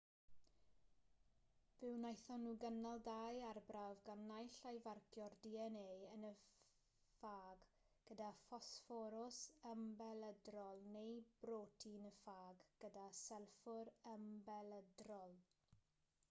fe wnaethon nhw gynnal dau arbrawf gan naill ai farcio'r dna yn y ffâg gyda ffosfforws ymbelydrol neu brotein y ffâg gyda sylffwr ymbelydrol